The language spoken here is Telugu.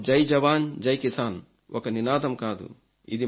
మాకు జై జవాన్ జై కిసాన్ ఒక నినాదం కాదు